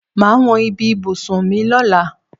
Màá wọn bí ibùsùn mi lóla.